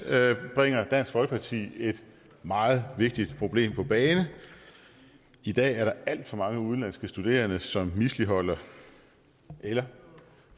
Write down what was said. bringer dansk folkeparti et meget vigtigt problem på banen i dag er der alt for mange udenlandske studerende som misligholder eller